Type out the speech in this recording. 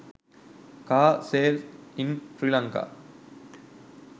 car sale in sri lanka